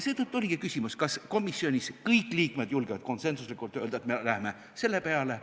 Seetõttu oligi küsimus, kas komisjonis kõik liikmed julgevad konsensuslikult öelda, et me läheme selle peale.